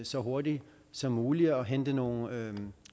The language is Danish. så hurtigt som muligt og hente nogle